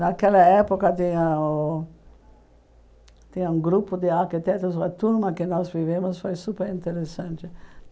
Naquela época, tinha um tinha um grupo de arquitetos, uma turma que nós vivemos, foi super interessante.